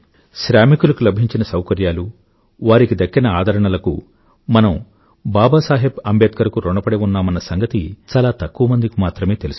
శ్రామికులకు లభించిన సౌకర్యాలు వారికి దక్కిన ఆదరణలకు మనం బాబాసాహెబ్ అంబేడ్కర్ కు రుణపడి ఉన్నామన్న సంగతి చాలా తక్కువ మందికి మాత్రమే తెలుసు